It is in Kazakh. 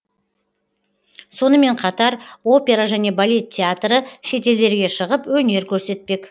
сонымен қатар опера және балет театры шетелдерге шығып өнер көрсетпек